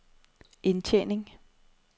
indtjening